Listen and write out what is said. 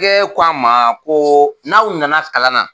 ko a ma ko n'aw na na kalan na